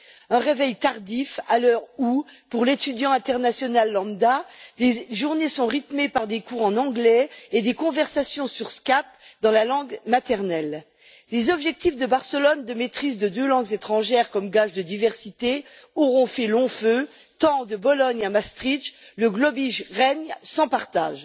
Un réveil tardif à l'heure où pour l'étudiant international lambda, les journées sont rythmées par des cours en anglais et des conversations sur Skype dans la langue maternelle. Les objectifs de Barcelone de maîtrise de deux langues étrangères comme gage de diversité auront fait long feu tant, de Bologne à Maastricht, le globish règne sans partage.